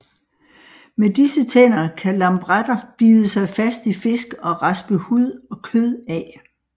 Med disse tænder kan lampretter bide sig fast i fisk og raspe hud og kød af